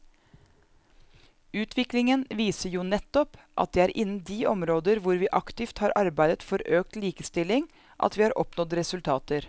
Utviklingen viser jo nettopp at det er innen de områder hvor vi aktivt har arbeidet for økt likestilling at vi har oppnådd resultater.